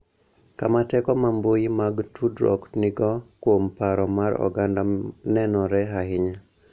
Kama teko ma mbui mag tudruok nigo kuom paro mar oganda nenore ahinya